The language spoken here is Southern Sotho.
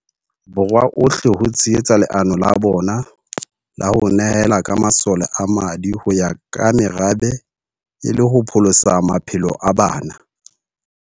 Borwa ohle ho tshehetsa leano la bona la ho ne hela ka masole a madi ho ya ka merabe e le ho pholosa maphelo a bana.